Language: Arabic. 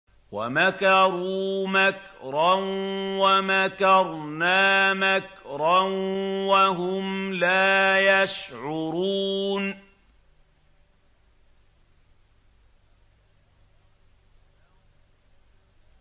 وَمَكَرُوا مَكْرًا وَمَكَرْنَا مَكْرًا وَهُمْ لَا يَشْعُرُونَ